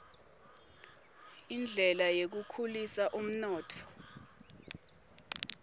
indlela yekukhulisa umnotfo